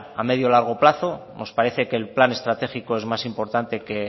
a medio largo plazo nos parece que el plan estratégico es más importante que